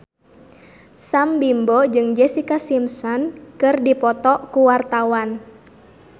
Sam Bimbo jeung Jessica Simpson keur dipoto ku wartawan